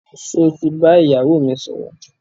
Sọ ti bá ìyàwó mi sọ̀rọ̀?